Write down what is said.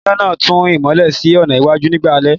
Iná náà ń tan ìmọ́lẹ̀ sí ọ̀nà iwájú nígbà alẹ́